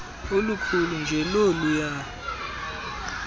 olukhulu njl oluya